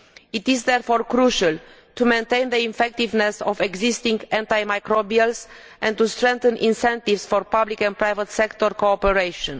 It is therefore crucial to maintain the effectiveness of existing antimicrobials and to strengthen incentives for public and private sector cooperation.